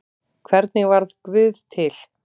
Hvernig varð guð til?